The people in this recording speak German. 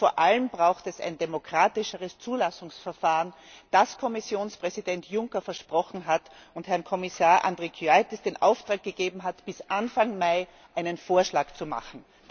Und vor allem braucht es ein demokratischeres Zulassungsverfahren, das Kommissionspräsident Juncker versprochen hat und zun dem er Herrn Kommissar Andriukaitis den Auftrag gegeben hat, bis Anfang Mai einen Vorschlag zu machen.